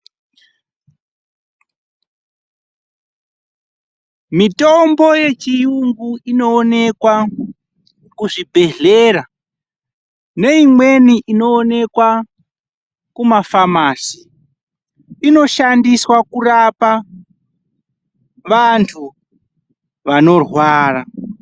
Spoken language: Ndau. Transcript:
Mitombo yechiyungu inowonekwa kuzvibhedhlera neimweni inoonekwa kuzvimbatso zvinotengesa mitombo yechiyungu. Inoshandiswa kurapa vantu vanorwara.